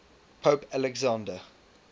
pope alexander